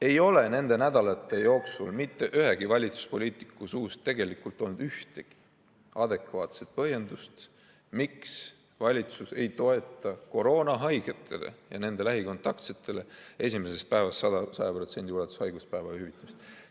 Ei ole nende nädalate jooksul mitte ühegi valitsuspoliitiku suust tulnud ühtegi adekvaatset põhjendust, miks valitsus ei toeta koroonahaigetele ja nende lähikontaktsetele esimesest päevast 100% ulatuses haiguspäevade hüvitamist.